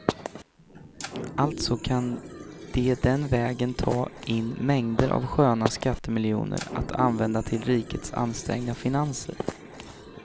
Alltså kan de den vägen ta in mängder av sköna skattemiljoner att använda till rikets ansträngda finanser.